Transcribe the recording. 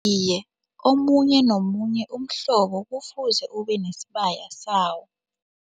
Iye, omunye nomunye umhlobo kufuze ubenesibaya sawo.